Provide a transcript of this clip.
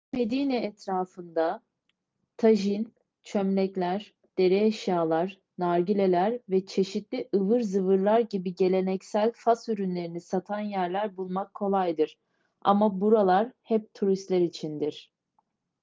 eski medine etrafında tajin çömlekler deri eşyalar nargileler ve çeşitli ıvır zıvırlar gibi geleneksel fas ürünlerini satan yerler bulmak kolaydır ama buralar hep turistler içindir